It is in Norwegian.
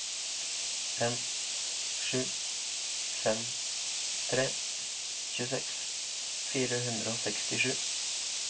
fem sju fem tre tjueseks fire hundre og sekstisju